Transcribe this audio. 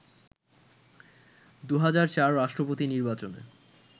২০০৪ রাষ্ট্রপতি নির্বাচনে